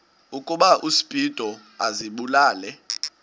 ukuba uspido azibulale